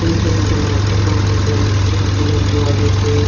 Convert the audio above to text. এই ছবিখনত এখন হোটেল দেখিবলৈ পোৱা গৈছে।